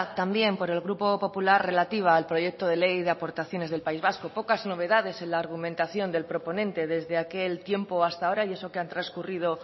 también por el grupo popular relativa al proyecto de ley de aportaciones del país vasco pocas novedades en la argumentación del proponente desde aquel tiempo hasta ahora y eso que ha transcurrido